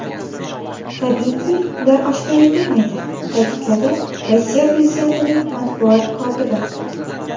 Tabiiyki, ular oshkor etilmaydi”, ta’kidladi Rossiya prezidentining matbuot kotibi.